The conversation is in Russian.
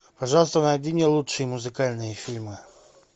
пожалуйста найди мне лучшие музыкальные фильмы